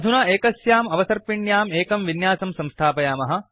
अधुना एकस्याम् अवसर्पिण्याम् एकं विन्यासं स्थापयामः